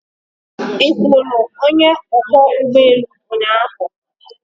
Ị hụrụ onye ọkwọ ụgbọ elu ụnyaahụ?